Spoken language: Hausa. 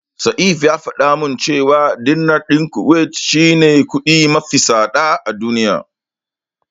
Saif ya faɗa min cewa Dinar din Kuwait shine kudi mafi tsada a duniya.